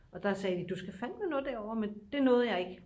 og der sagde de du skal fandme nå derover men det nåede jeg ikke